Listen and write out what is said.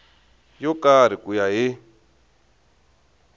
yo karhi ku ya hi